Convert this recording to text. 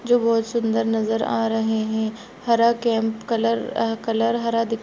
जो बहुत सुन्दर नज़र आ रहे है हरा कैंप कलर अ कलर हरा दिख--